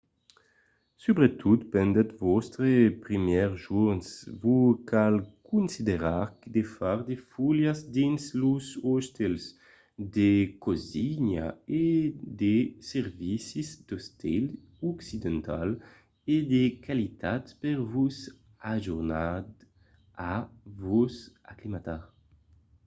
subretot pendent vòstres primièrs jorns vos cal considerar de far de foliás dins los otèls de cosina e de servicis d'estil occidental e de qualitat per vos ajudar a vos aclimatar